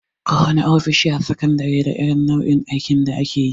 Kowana ofishi a sakandare da irin nau'in aikin da akeyi.